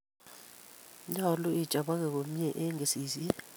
nyolu ichobogei komyei eng' kesisyet